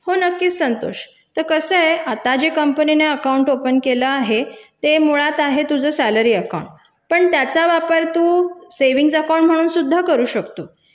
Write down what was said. हो नक्की संतोष तर कसं आहे आत्ताचे कंपनीने खातो उघडलं आहे ते मुळात आहे तुझं पगार खातं पण त्याचा वापर तू बचत खातं म्हणून पण करू शकतोस